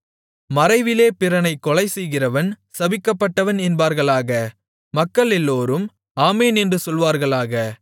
மறைவிலே பிறனைக் கொலைசெய்கிறவன் சபிக்கப்பட்டவன் என்பார்களாக மக்களெல்லோரும் ஆமென் என்று சொல்வார்களாக